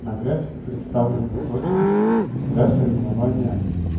на графике представлены точность для соревнования